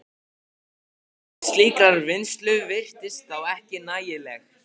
Hagkvæmni slíkrar vinnslu virtist þá ekki nægjanleg.